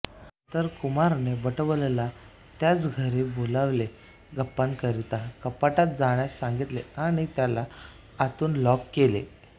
नंतर कुमारने बटवब्बलला त्याच्या घरी बोलावले गप्पांकरिता कपाटात जाण्यास सांगितले आणि त्याला आतून लॉक केले